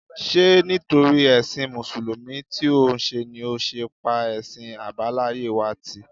Ṣé nítorí ẹṣin Mùsùlùmí tí òun ṣe ni ó ṣe pa ẹ̀sìn àbáláyé wa tì?